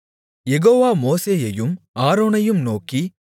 யெகோவா மோசேயையும் ஆரோனையும் நோக்கி